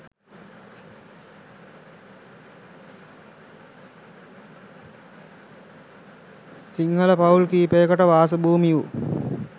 සිංහල පවුල් කීපයකට වාස භූමි වූ